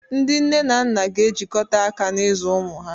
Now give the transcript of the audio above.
Ndị nne na nna ga-ejikọta aka n'ịzụ ụmụ ha